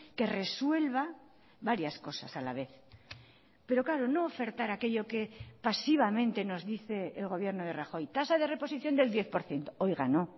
que resuelva varias cosas a la vez pero claro no ofertar aquello que pasivamente nos dice el gobierno de rajoy tasa de reposición del diez por ciento oiga no